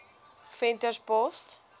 venterspost